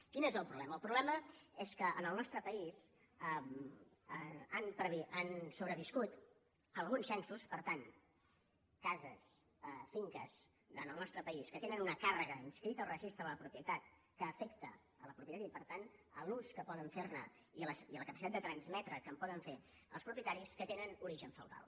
quin és el problema el problema és que en el nostre país han sobreviscut alguns censos per tant cases finques en el nostre país que tenen una càrrega inscrita al registre de la propietat que afecta la propietat i per tant l’ús que poden fer ne i la capacitat de transmetre que en poden fer els propietaris que tenen origen feudal